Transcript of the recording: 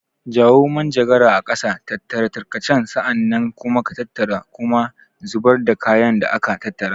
Jawo manjagara a ƙasa, tattara tarkace, sa'an nan kuma tattara kuma zubar da kayan da aka tattara.